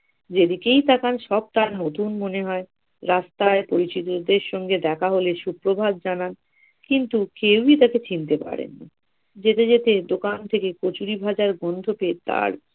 যেদিকেই তাকান সব তার নতুন মনে হয় রাস্তায় পরিচিতদের সঙ্গে দেখা হলে সুপ্রভাত জানান কিন্তু কেউই তাকে চিনতে পারেননি যেতে যেতে দোকান থেকে কচুরিভাজার গন্ধ পেয়ে তার